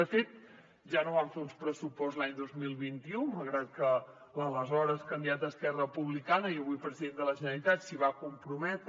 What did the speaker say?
de fet ja no van fer un pressupost l’any dos mil vint u malgrat que l’aleshores candidat d’esquerra republicana i avui president de la generalitat s’hi va comprometre